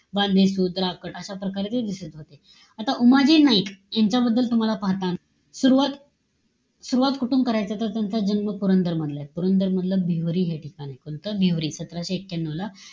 अशा प्रकारे ते दिसत होते. आता उमाजी नाईक, यांच्याबद्दल तूम्हाला पाहताना सुरवात सुरवात कुठून करायचं? तर, त्यांचा जन्म पुरंदर मधला. पुरंदर मधलं भिवरी हे ठिकाण आहे. कोणतं? भिवरी. सतराशे एक्यानव ला,